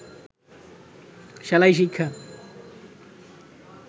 সেলাই শিক্ষা